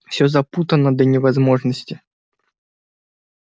все запутано до невозможности